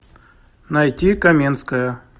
найти каменская